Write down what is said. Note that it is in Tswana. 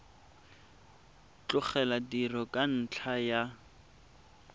tlogela tiro ka ntlha ya